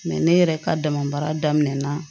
ne yɛrɛ ka dama baara daminɛna